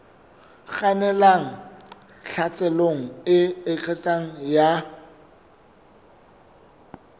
kgannelang tlhaselong e eketsehang ya